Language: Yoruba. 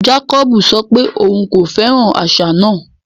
Jàkòbú sọ pé ọ̀un kò fẹ́ran àṣà náà.